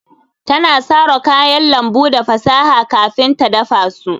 Ta sara kayan lambu da fasaha kafin ta dafa su